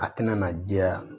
A tɛna na jɛya